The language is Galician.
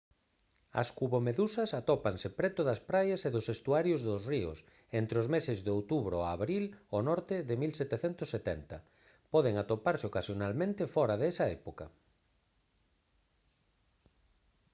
as cubomedusas atópanse preto das praias e dos estuarios dos ríos entre os meses de outubro a abril ao norte de 1770 poden atoparse ocasionalmente fóra desa época